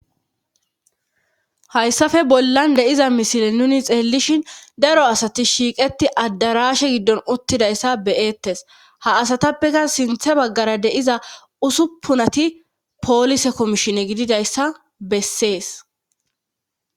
hayssafe bollan de7iza misile nuni xeellishin daro asati shiiqeti addarashe giddon uttidayssa beyeettes ha asatappeka sinthe baggara deiza usuppunati poolise komishine gididayssa bessees